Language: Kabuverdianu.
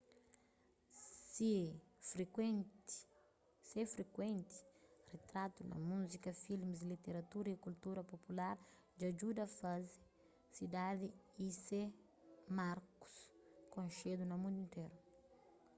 se frikuenti ritratu na múzika filmis literatura y kultura popular dja djuda faze sidadi y se markus konxedu na mundu interu